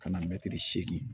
Ka na mɛtiri seegin